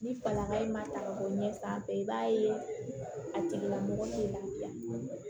Ni falaka in ma ta ka bɔ ɲɛ sanfɛ i b'a ye a tigilamɔgɔ tɛ lafiya